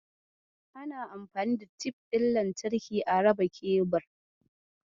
Ana anfani da tif ɗin lantarki a raba kebir.